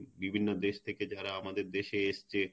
বিভিন্ন দেশ থেকে যারা আমাদের দেশে এসছে